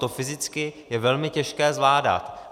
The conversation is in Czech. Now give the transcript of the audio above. To fyzicky je velmi těžké zvládat.